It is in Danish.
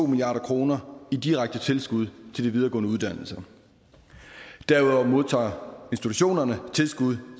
milliard kroner i direkte tilskud til de videregående uddannelser derudover modtager institutionerne tilskud